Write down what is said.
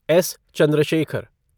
S. Chandrashekhar